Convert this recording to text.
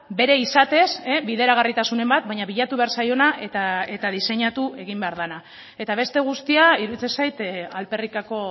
bere izatez bideragarritasunen bat baina bilatu behar zaiona eta diseinatu egin behar dena eta beste guztia iruditzen zait alferrikako